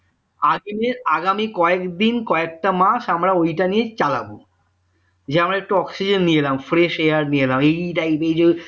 ultimate আগামী কয়েকদিন কয়েকটা মাস আমরা ওইটা নিয়ে চালাবো যে আমরা একটু oxygen নিয়ে এলাম fresh হয়ে